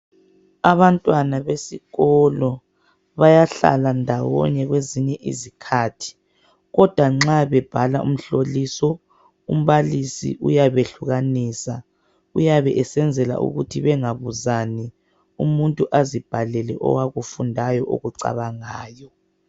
Abantwana besikolo bayahlala ndawonye ngazonke izikhathi kodwa nxa bebhala umhloliso umbalisi uyabe hlukanisa uyabe esenzela ukuthi bengabuzani umuntu azibhalele akufundayo akucabangayo